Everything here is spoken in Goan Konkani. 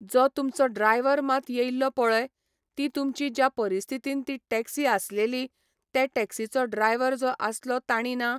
जो तुमचो ड्रायवर मात येयल्लो पळय, ती तुमची ज्या परिस्थितीन ती टॅक्सी आसलेली, ते टॅक्सीचो ड्रायवर जो आसलो ताणी ना